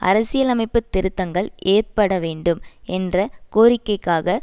அரசியலலைமைப்புத் திருத்தங்கள் ஏற்பட வேண்டும் என்ற கோரிக்கைக்காக